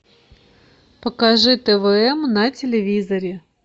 покажи твм на телевизоре